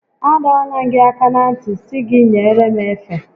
A dọọla m gị aka na ntị sị gị nyere m efe